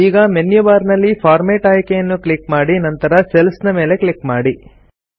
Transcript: ಈಗ menu bar ನಲ್ಲಿ format ಆಯ್ಕೆಯನ್ನು ಕ್ಲಿಕ್ ಮಾಡಿ ನಂತರ ಸೆಲ್ಸ್ ಮೇಲೆ ಕ್ಲಿಕ್ ಮಾಡಿ